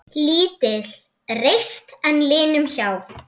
Lítil reisn er linum hjá.